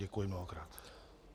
Děkuji mnohokrát.